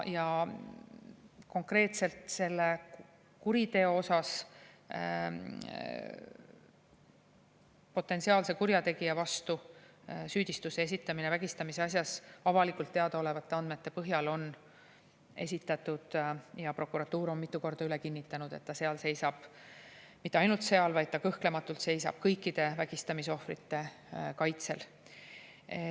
Ja konkreetselt selle kuriteo osas on potentsiaalse kurjategija vastu süüdistus vägistamisasjas avalikult teadaolevate andmete põhjal esitatud ja prokuratuur on mitu korda üle kinnitanud, et ta seal seisab – mitte ainult seal, vaid ta kõhklematult seisab kõikide vägistamisohvrite kaitsel.